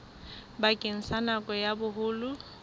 bakeng sa nako ya boholo